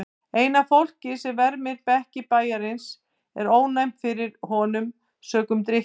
Eina fólkið sem vermir bekki bæjarins er ónæmt fyrir honum sökum drykkju.